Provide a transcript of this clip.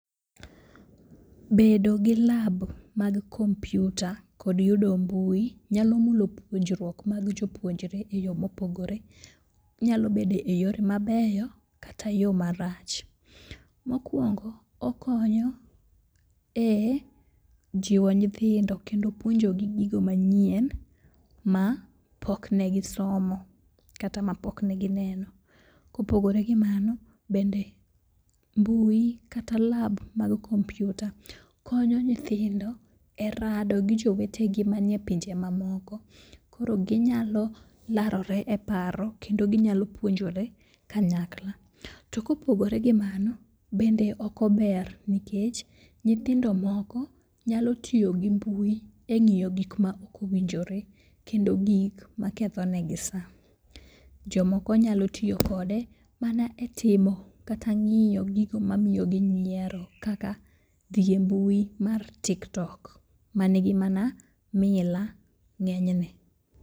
Bedo gi lab mag kompiuta kod yudo mbui nyalo mulo puonjruok mag jopuonjre e yo mopogore. Onyalo bedo e yore mabeyo kata yo marach. Mokwongo okonyo e jiwo nyithindo kendo puonjogi gigo manyien ma pok ne gisomo kata ma pokne gineno. Kopogore gi mano bende mbui kata lab mar kompiuta konyo nyithindo e rado gi jowetegi manie pinje mamoko koro ginyalo larore e paro kendo ginyalo puonjore kanyakla. To kopogore gi mano, bende ok ober nikech nyithindo moko nyalo tiyo gi mbui e ng'iyo gikma ok owinjore kendo gik makethonegi sa. Jomoko nyalo tiyo kode mana e timo kata ng'iyo gigo mamiyogi nyiero kaka dhi e mbui mar TikTok manigi mana mila ng'enyne.